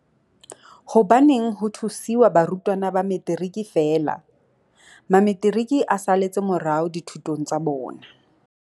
Hobaneng ho thusiwa barutwana ba Metiriki feela? Mametiriki a saletse morao dithutong tsa bona.